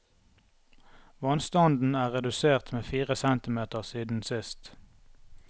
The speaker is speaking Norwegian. Vannstanden er redusert med fire centimeter siden sist.